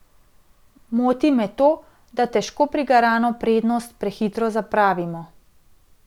Moti me to, da težko prigarano prednost prehitro zapravimo.